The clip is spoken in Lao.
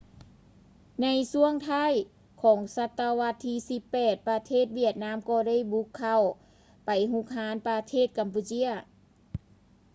ໃນຊ່ວງທ້າຍຂອງສະຕະວັດທີ 18 ປະເທດຫວຽດນາມກໍ່ໄດ້ບຸກເຂົ້າໄປຮຸກຮານປະເທດກຳປູເຈຍ